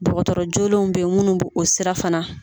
Ddɔgɔtɔrɔ joolenw bɛ ye munnu bɛ o sira fana